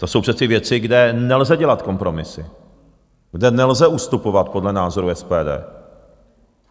To jsou přece věci, kde nelze dělat kompromisy, kde nelze ustupovat podle názoru SPD.